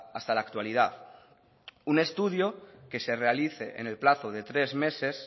hasta la actualidad un estudio que se realice en el plazo de tres meses